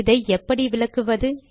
இதை எப்படி விளக்குவது